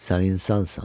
Sən insansan.